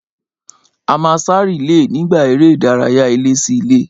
A máa sá rìílè nígbà eré ìdárayá ilé-sí-ilé